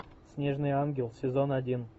снежный ангел сезон один